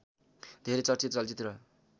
धेरै चर्चित चलचित्र